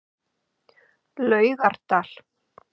Laugardal